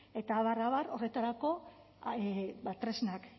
eta abar abar horretarako tresnak